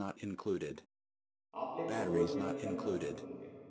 आपले तत्त्वज्ञान त्यांना पटवून देत.